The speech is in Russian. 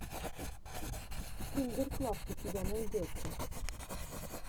киндер клаб у тебя найдется